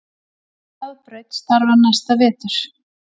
Hraðbraut starfar næsta vetur